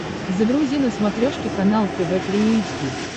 загрузи на смотрешке канал тв три эйч ди